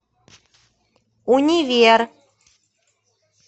универ